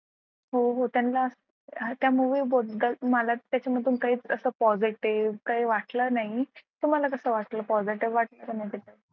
हो हो त्यांना त्या movie बद्दल मला त्याच्यामधून काही असं positive काही वाटलं नाही तुम्हाला कसं वाटलं positive वाटलं की नाही त्याच्यात